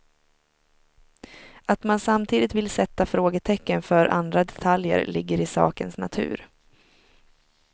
Att man samtidigt vill sätta frågetecken för andra detaljer ligger i sakens natur.